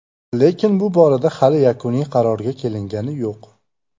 Lekin bu borada hali yakuniy qarorga kelingani yo‘q.